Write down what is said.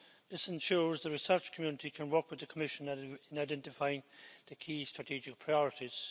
This ensures the research community can work with the Commission in identifying the key strategic priorities.